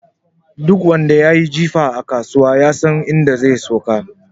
Duk wanda yayi jifa a kasuwa, yasan inda zai sauka.